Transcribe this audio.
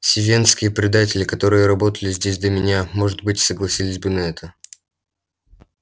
сивеннские предатели которые работали здесь до меня может быть согласились бы на это